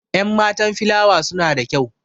Enmatan filawa suna da kyau.